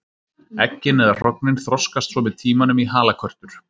Eggin eða hrognin þroskast svo með tímanum í halakörtur.